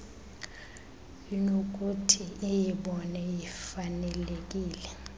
inokuthi iyibone ifanelekile